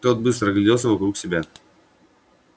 тот быстро огляделся вокруг себя